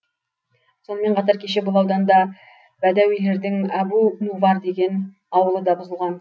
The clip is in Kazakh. сонымен қатар кеше бұл ауданда бәдәуилердің әбу нувар деген ауылы да бұзылған